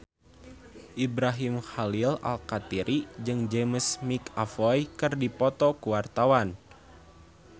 Ibrahim Khalil Alkatiri jeung James McAvoy keur dipoto ku wartawan